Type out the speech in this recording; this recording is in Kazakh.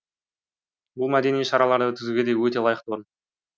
бұл мәдени шараларды өткізуге де өте лайықты орын